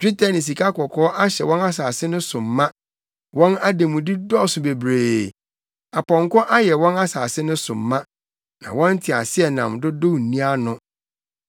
Dwetɛ ne sikakɔkɔɔ ahyɛ wɔn asase no so ma; wɔn ademude dɔɔso bebree. Apɔnkɔ ayɛ wɔn asase no so ma; na wɔn nteaseɛnam dodow nni ano.